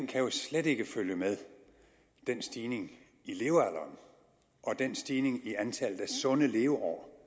kan jo slet ikke følge med den stigning i levealderen og den stigning i antallet af sunde leveår